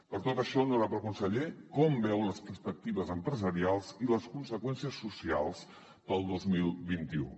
per tot això honorable conseller com veu les perspectives empresarials i les conseqüències socials pel dos mil vint u